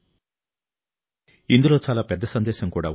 భారతదేశ సరఫరా గొలుసు రోజురోజుకు బలపడుతుందని కూడా దీని అర్థం